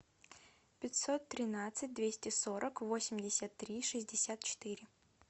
пятьсот тринадцать двести сорок восемьдесят три шестьдесят четыре